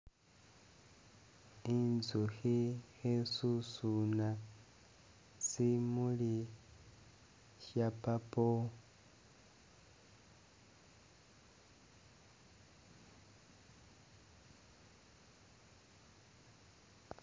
Inzukhi khesusuna simuli sya purple.